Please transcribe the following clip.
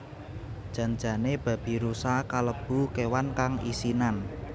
Jan jane babirusa kalebu kewan kang isinan